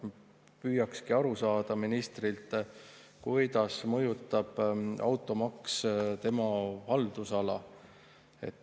Püüakski aru saada ministrilt, kuidas mõjutab automaks tema haldusala.